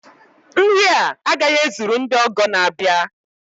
Nri a agaghị ezuru ndị ọgọ na-abịa